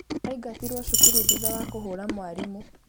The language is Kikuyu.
Aingatirwo cukuru thutha wa kũhũra mwarimũ